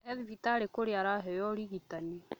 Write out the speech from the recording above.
E thibitari kũrĩa araheo ũrigitani